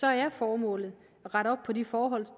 er formålet at rette op på de forhold der